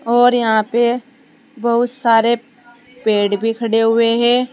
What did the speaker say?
और यहां पे बहुत सारे पेड़ भी खड़े हुए हैं।